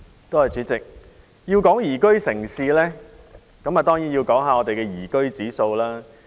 代理主席，討論宜居城市這議題時，當然要談到本港的宜居指數。